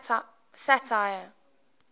satire